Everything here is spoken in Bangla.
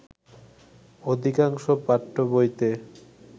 অধিকাংশ পাঠ্যবইতে